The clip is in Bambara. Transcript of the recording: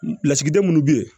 Lasigiden minnu bɛ yen